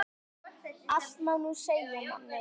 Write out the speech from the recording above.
Allt má nú segja manni.